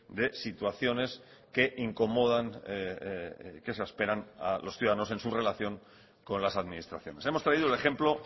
de situaciones que incomodan que exasperan a los ciudadanos en su relación con las administraciones hemos traído el ejemplo